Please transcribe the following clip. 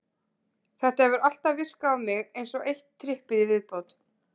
Þetta hefur alltaf virkað á mig eins og eitt trippið í viðbót.